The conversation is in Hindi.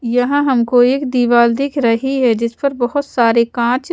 यहाँ हमको एक दीवार दिख रही है जिस पर बहुत सारे काँच --